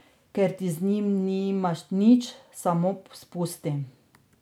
Ker ti z njimi nimaš nič, samo spusti...